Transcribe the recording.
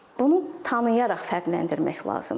Bunu tanıyaraq fərqləndirmək lazımdır.